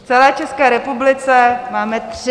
V celé České republice máme tři!